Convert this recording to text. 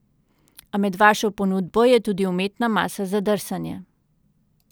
A med vašo ponudbo je tudi umetna masa za drsanje.